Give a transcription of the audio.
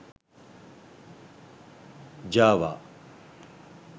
java